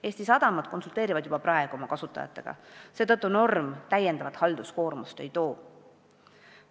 Eesti sadamad konsulteerivad juba praegu oma kasutajatega, seetõttu norm täiendavat halduskoormust ei tekita.